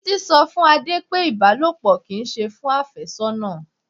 Títí sọ fún Adé pé Ibalopo kì í ṣe fún afésónà.